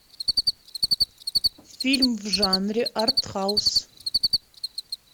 фильм в жанре артхаус